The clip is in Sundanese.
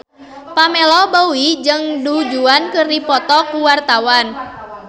Pamela Bowie jeung Du Juan keur dipoto ku wartawan